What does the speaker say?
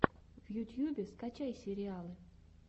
в ютьюбе скачай сериалы